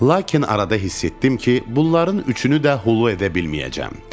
Lakin arada hiss etdim ki, bunların üçünü də hulu edə bilməyəcəm.